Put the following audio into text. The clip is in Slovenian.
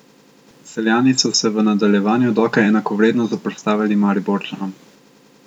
Celjani so se v nadaljevanju dokaj enakovredno zoperstavili Mariborčanom.